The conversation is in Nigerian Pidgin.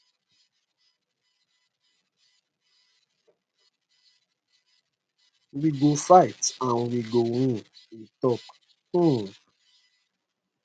we go fight and we go win e tok um